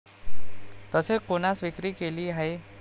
तसेच कोणास विक्री केली आहे?